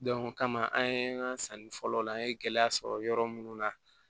o kama an ye sanni fɔlɔ kɛ an ye gɛlɛya sɔrɔ yɔrɔ minnu na